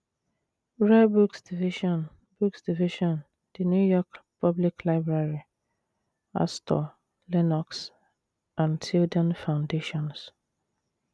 Rare Books Division Books Division, The New York Public Library, Astor, Lenox and Tilden Foundations